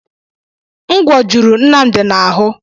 Ngwò juru Nnamdi na-ahụ.